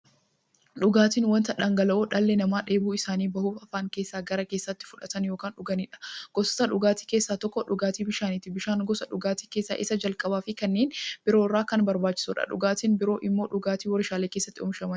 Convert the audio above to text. Dhugaatiin wanta dhangala'oo dhalli namaa dheebuu isaanii ba'uuf, afaaniin gara keessaatti fudhatan yookiin dhuganiidha. Gosoota dhugaatii keessaa tokko dhugaatii bishaaniti. Bishaan gosa dhugaatii keessaa isa jalqabaafi kanneen biroo irra kan barbaachisuudha. Dhugaatiin biroo immoo dhugaatii waarshalee keessatti oomishamaniidha.